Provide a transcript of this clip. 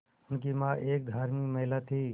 उनकी मां एक धार्मिक महिला थीं